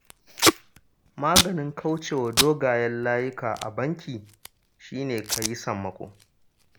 Maganin kauce wa dogayen layuka a banki shi ne, ka yi sammako